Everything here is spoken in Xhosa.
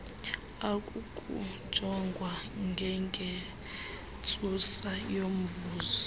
akukujongwa ngengentsusa yomvuzo